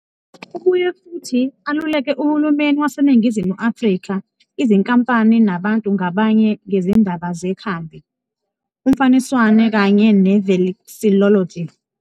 Ubuye futhi aluleke uhulumeni waseNingizimu Afrika, izinkampani nabantu ngabanye ngezindaba zekhambi, umfaniswano kanye ne- vexillology.